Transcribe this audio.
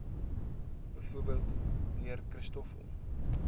bv mnr christoffel